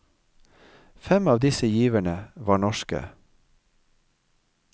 Fem av disse giverne var norske.